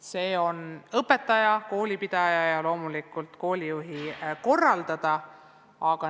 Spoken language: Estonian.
See on õpetaja, koolipidaja ja loomulikult koolijuhi korraldada.